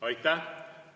Aitäh!